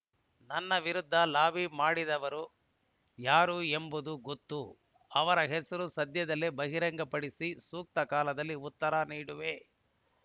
ನನ್ನ ವಿರುದ್ಧ ಲಾಬಿ ಮಾಡಿದವರು ಯಾರು ಎಂಬುದು ಗೊತ್ತು ಅವರ ಹೆಸರು ಸದ್ಯದಲ್ಲೇ ಬಹಿರಂಗಪಡಿಸಿ ಸೂಕ್ತ ಕಾಲದಲ್ಲಿ ಉತ್ತರ ನೀಡುವೆ